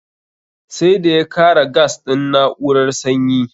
Sai da ya kara gas din na'urar sanyi